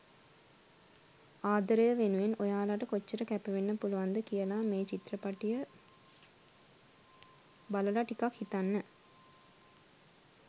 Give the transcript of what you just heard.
ආදරය වෙනුවෙන් ඔයාලට කොච්චර කැපවෙන්න පුලුවන්ද කියලා මේ චිත්‍රපටිය බලලා ටිකක් හිතන්න.